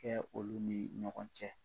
Kɛ olu ni ɲɔgɔn cɛ